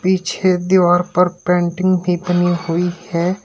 पीछे दीवार पर पेंटिंग भी बनी हुई है।